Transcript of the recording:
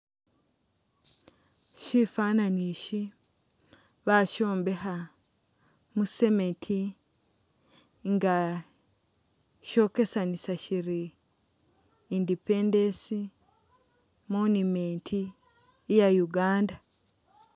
Syifwaananyi isi basyombekha mu cement nga syokesamisa syiri independence monument iya Uganda.